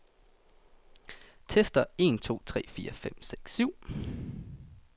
Tester en to tre fire fem seks syv otte.